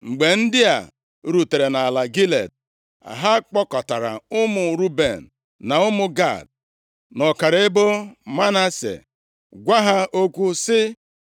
Mgbe ndị a rutere nʼala Gilead, ha kpọkọtara ụmụ Ruben, na ụmụ Gad, na ọkara ebo Manase gwa ha okwu sị,